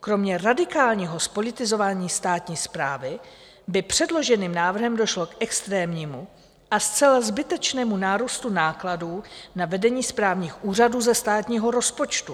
Kromě radikálního zpolitizování státní správy by předloženým návrhem došlo k extrémnímu a zcela zbytečnému nárůstu nákladů na vedení správních úřadů ze státního rozpočtu.